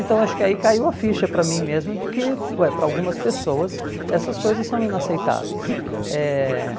Então acho que aí caiu a ficha para mim mesmo de que, ué para algumas pessoas, essas coisas são inaceitáveis. Eh